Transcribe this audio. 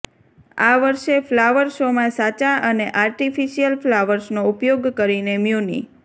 આ વર્ષે ફ્લાવર શોમાં સાચા અને આર્ટીફીશીયલ ફ્લાવર્સનો ઉપયોગ કરીને મ્યુનિ